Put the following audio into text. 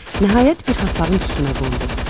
Nəhayət bir hasarın üstünə qondu.